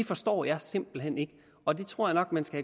forstår jeg simpelt hen ikke og det tror jeg nok man skal